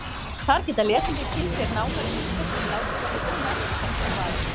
Þar geta lesendur kynnt sér nánar ýmislegt sem látið verður ónefnt í þessu svari.